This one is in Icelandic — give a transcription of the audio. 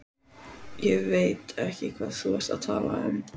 Ég veit ekki hvað þú ert að tala um.